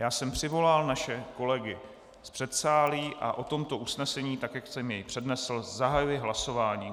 Já jsem přivolal naše kolegy z předsálí a o tomto usnesení, tak jak jsem jej přednesl, zahajuji hlasování.